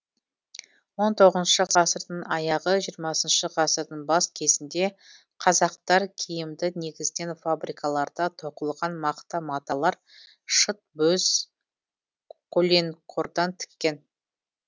он тоғызыншы ғасырдың аяғы жиырмасыншы ғасырдың бас кезінде қазақтар киімді негізінен фабрикаларда тоқылған мақта маталар шыт бөз коленқордан тіккен